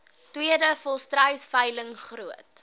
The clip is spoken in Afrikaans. tweede volstruisveiling groot